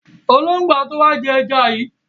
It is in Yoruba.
Ológbò á tó wá jẹ́ àwọn ẹja yìí.